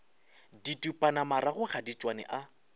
didupanamarago ga di tšwane a